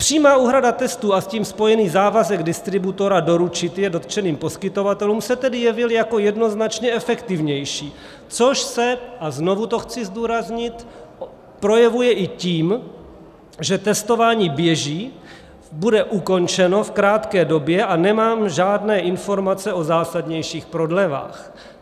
Přímá úhrada testů a s tím spojený závazek distributora doručit je dotčeným poskytovatelům se tedy jevil jako jednoznačně efektivnější, což se, a znovu to chci zdůraznit, projevuje i tím, že testování běží, bude ukončeno v krátké době, a nemám žádné informace o zásadnějších prodlevách.